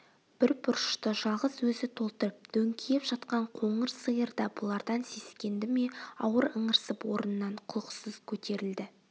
бір бұрышты жалғыз өзі толтырып дөңкиіп жатқан қоңыр сиыр да бұлардан сескенді ме ауыр ыңырсып орнынан құлықсыз көтерілді